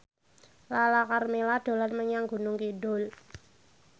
Lala Karmela dolan menyang Gunung Kidul